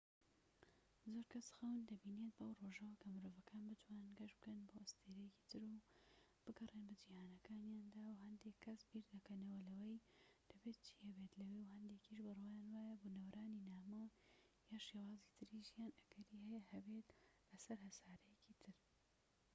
زۆر کەس خەون دەبینێت بەو ڕۆژەوە کە مرۆڤەکان بتوانن گەشت بکەن بۆ ئەستێرەیەکی تر و بگەڕێن بە جیهانەکانیاندا و هەندێك کەس بیردەکەنەوە لەوەی دەبێت چی هەبێت لەوێ و هەندێکیش بڕوایان وایە بونەوەرانی نامۆ یان شێوازی تری ژیان ئەگەری هەیە هەبێت لەسەر هەسارەیەکی تر